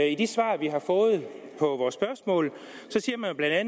i de svar vi har fået på vores spørgsmål siger man bla at